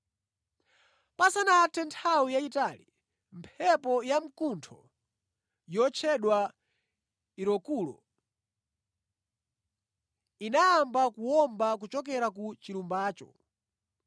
Pasanathe nthawi yayitali, mphepo yamkuntho yotchedwa Eurokulo, inayamba kuwomba kuchokera ku chilumbacho.